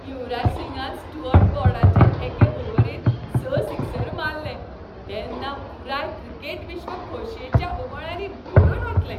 युवराज सिंगान स्टुअर्ट ब्रॉडाचे एके ओव्हरींत स सिक्सर मारले तेन्ना पुराय क्रिकेट विश्व खोशयेच्या उमाळ्यांनी भरून ओंतलें.